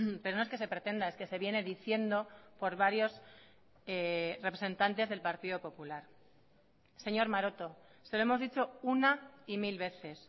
pero no es que se pretenda es que se viene diciendo por varios representantes del partido popular señor maroto se lo hemos dicho una y mil veces